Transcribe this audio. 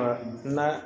n'a